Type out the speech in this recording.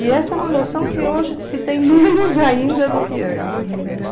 E essa é uma noção que hoje se tem menos ainda do que antes, entendeu?